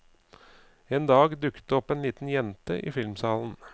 En dag dukket det opp en liten jente i filmsalen.